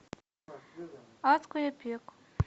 адское пекло